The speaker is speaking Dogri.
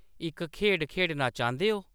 इक खेढ खेढना चांह्दे ओ